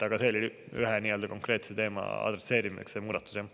Aga see oli ühe konkreetse teema adresseerimiseks, see muudatus.